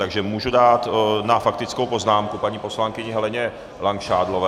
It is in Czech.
Takže můžu dát na faktickou poznámku paní poslankyni Heleně Langšádlové.